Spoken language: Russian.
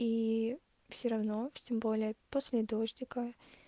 ии всё равно тем более после дождика